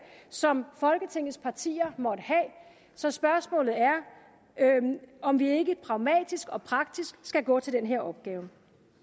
som folketingets partier måtte have så spørgsmålet er om vi ikke pragmatisk og praktisk skal gå til den her opgave